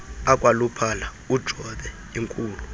akwaluphala ujobe inkulu